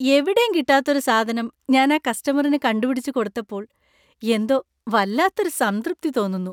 എവിടെയും കിട്ടാത്ത ഒരു സാധനം ഞാൻ ആ കസ്റ്റമറിന് കണ്ടുപിടിച്ച് കൊടുത്തപ്പോൾ എന്തോ വല്ലാത്ത ഒരു സംതൃപ്തി തോന്നുന്നു.